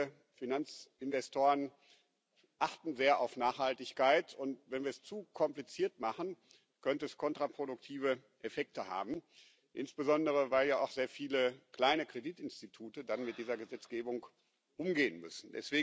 Viele Finanzinvestoren achten sehr auf Nachhaltigkeit, und wenn wir es zu kompliziert machen, könnte das kontraproduktive Effekte haben, insbesondere weil ja auch sehr viele kleine Kreditinstitute dann mit dieser Gesetzgebung umgehen müssen.